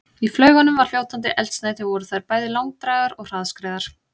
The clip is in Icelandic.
Í flaugunum var fljótandi eldsneyti og voru þær bæði langdrægar og hraðskreiðar.